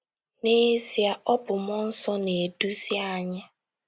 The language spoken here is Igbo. N’ezie, ọ bụ mmụọ nsọ na - eduzi anyị.